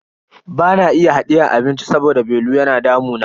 Bana iya hadiyan abinci saboda belu yana damuna.